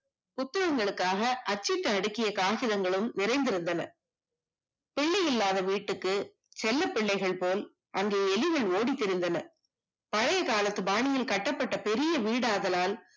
புத்தகங்களுக்காக சீட்டு அடுக்கிய ஆயுதங்களும் நிறைந்து இருந்தன பிள்ளை இல்லாத வீட்டுக்கு செல்ல பிள்ளைகள் போல் அங்கு எலிகள் ஓடித் திரிந்தன பழைய காலத்து பாணியில் கட்டப்பட்ட பெரிய வீடா ஆதலால்